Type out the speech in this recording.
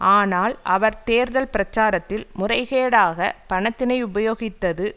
ஆனால் அவர் தேர்தல் பிரச்சாரத்தில் முறைகேடாக பணத்தினை உபயோகித்தது